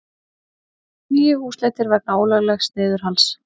Níu húsleitir vegna ólöglegs niðurhals